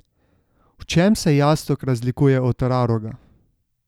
V čem se jastog razlikuje od raroga?